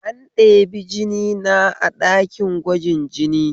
An ɗebi jinina a ɗakin gwajin jini